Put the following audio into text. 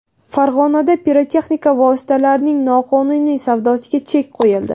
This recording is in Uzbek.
Farg‘onada pirotexnika vositalarining noqonuniy savdosiga chek qo‘yildi.